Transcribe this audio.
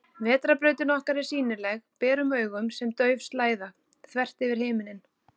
Vetrarbrautin okkar er sýnileg berum augum sem dauf slæða, þvert yfir himinninn.